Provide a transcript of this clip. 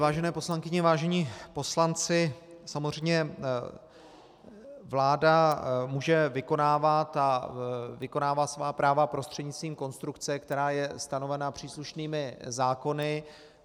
Vážené poslankyně, vážení poslanci, samozřejmě vláda může vykonávat a vykonává svá práva prostřednictvím konstrukce, která je stanovena příslušnými zákony.